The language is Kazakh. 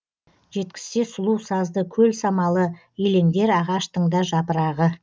жеткізсе сұлу сазды көл самалы елеңдер ағаштың да жапырағы